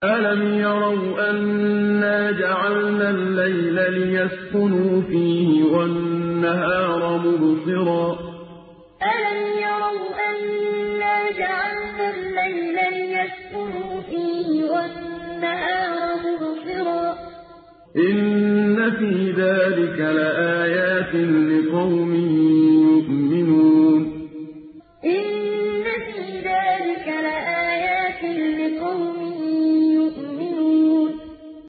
أَلَمْ يَرَوْا أَنَّا جَعَلْنَا اللَّيْلَ لِيَسْكُنُوا فِيهِ وَالنَّهَارَ مُبْصِرًا ۚ إِنَّ فِي ذَٰلِكَ لَآيَاتٍ لِّقَوْمٍ يُؤْمِنُونَ أَلَمْ يَرَوْا أَنَّا جَعَلْنَا اللَّيْلَ لِيَسْكُنُوا فِيهِ وَالنَّهَارَ مُبْصِرًا ۚ إِنَّ فِي ذَٰلِكَ لَآيَاتٍ لِّقَوْمٍ يُؤْمِنُونَ